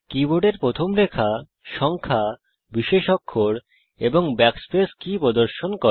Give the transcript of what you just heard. কীবোর্ডের প্রথম রেখা সংখ্যা বিশেষ অক্ষর এবং ব্যাকস্পেস কী প্রদর্শন করে